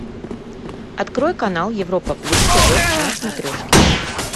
открой канал европа плюс тв на смотрешке